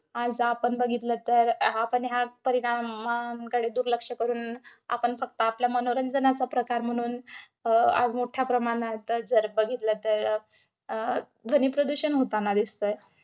आज आपण बघितलं तर आपण ह्या परिणामांकडे दुर्लक्ष करून, आपण फक्त आपल्या मनोरंजनाचा प्रकार म्हणून, अं आज मोठ्या प्रमाणात जर बघितलं तर अं ध्वनी प्रदूषण होतांना दिसतयं.